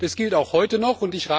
Das gilt auch heute noch.